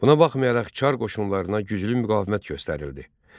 Buna baxmayaraq Çar qoşunlarına güclü müqavimət göstərildi.